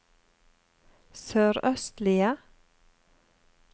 sørøstlige